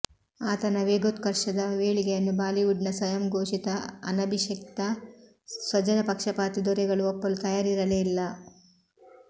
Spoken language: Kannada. ಆತನ ವೇಗೋತ್ಕರ್ಷದ ಏಳಿಗೆಯನ್ನು ಬಾಲಿವುಡ್ನ ಸ್ವಯಂಘೋಷಿತ ಅನಭಿಷಿಕ್ತ ಸ್ವಜನಪಕ್ಷಪಾತಿ ದೊರೆಗಳು ಒಪ್ಪಲು ತಯಾರಿರಲೇ ಇಲ್ಲ